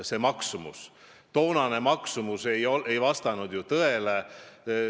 Toona välja pakutud maksumus ei vasta tõele.